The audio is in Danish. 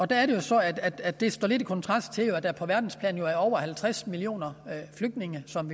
der er det så at at det står lidt i kontrast til at der jo på verdensplan er over halvtreds millioner flygtninge som